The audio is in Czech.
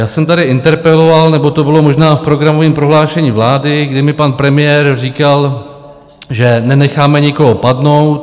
Já jsem tady interpeloval, nebo to bylo možná v programovým prohlášení vlády, kdy mi pan premiér říkal, že nenecháme nikoho padnout.